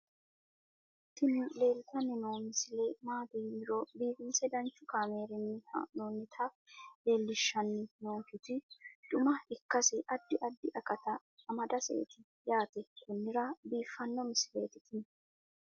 tini leeltanni noo misile maaati yiniro biifinse danchu kaamerinni haa'noonnita leellishshanni nonketi xuma ikkase addi addi akata amadaseeti yaate konnira biiffanno misileeti tini